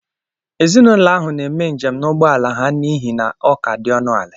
Ezinụlọ ahụ na-eme njem n'ụgbọ ala ha n'ihi na ọ ka dị ọnụ ala